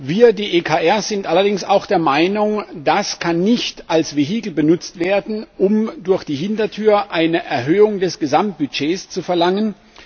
Wir, die ECR, sind allerdings auch der Meinung, das kann nicht als Vehikel benutzt werden um durch die Hintertür eine Erhöhung des Gesamtbudgets zu verlangen.